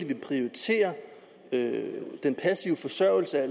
vil prioritere den passive forsørgelse er